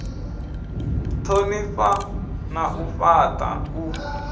thonifha na u fhata u